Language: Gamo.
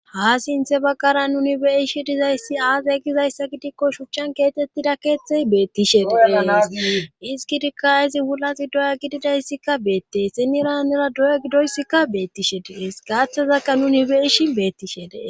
ha sinthe baggara nuni beyishi dizayssi aaz gizayssa gidikko shuchchan keetettida keeththey beettishe deeesisgidikka izi wulaxi doya gididayssikka beette siniranera doya gidoyssikka beettishe dees gaaththazakka nuni beyishin beettishe dee